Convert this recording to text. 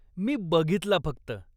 मी बघितला फक्त.